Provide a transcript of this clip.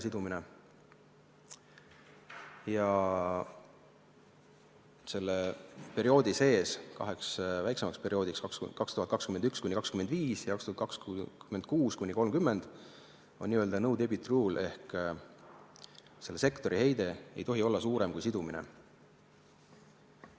Selle perioodi sees on kaks väiksemat perioodi, 2021–2025 ja 2026–2030, mille kohta kehtib n-ö no-debit rule ehk sektori heide ei tohi olla suurem kui sidumine.